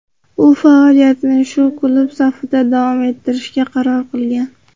U faoliyatini shu klub safida davom ettirishga qaror qilgan.